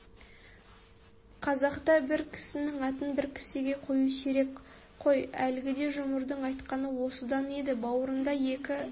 қазақта бір кісінің атын бір кісіге қою сирек қой әлгіде жұмырдың айтқаны осыдан еді бауырында екі